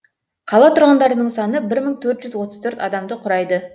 қала тұрғындарының саны бір мың төрт жүз отыз төрт адамды құрайды